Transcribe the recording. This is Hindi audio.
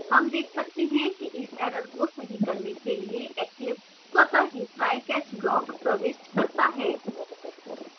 हम देख सकते हैं कि इस error को सही करने के लिए eclipse स्वतः ही try catch block प्रविष्ट करता है